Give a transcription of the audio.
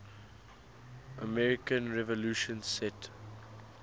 american revolution set